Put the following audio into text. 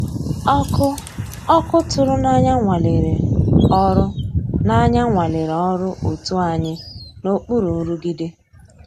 Ọ́kụ́ ọ́kụ́ tụ̀rụ̀ n'ànyá nwàlérè ọ́rụ́ n'ànyá nwàlérè ọ́rụ́ ótú ànyị́ n'òkpùrú nrụ̀gídé.